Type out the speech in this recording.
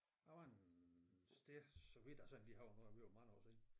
Der var en sted så vidt jeg sådan lige husker nu er det ved at være mange år siden